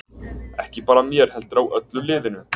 Ekki bara mér heldur á öllu liðinu.